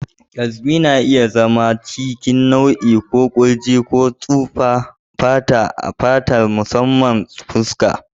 Eczema na iya zama a cikin nau'i ko kurji ko tsufan fata a fata, musamman fuska.